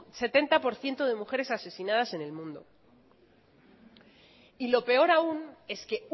setenta por ciento de mujeres asesinadas en el mundo y lo peor aún es que